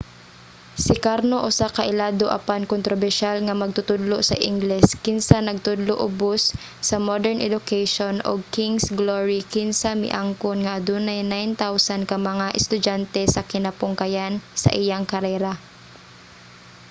si karno usa ka ilado apan kontrobersyal nga magtutudlo sa ingles kinsa nagtudlo ubos sa modern education ug king's glory kinsa miangkon nga adunay 9,000 ka mga estudyante sa kinapungkayan sa iyang karera